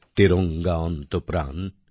তেরঙা অন্ত প্রাণ